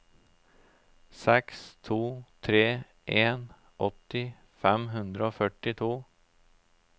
seks to tre en åtti fem hundre og førtito